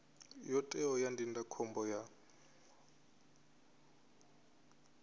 yo teaho ya ndindakhombo ya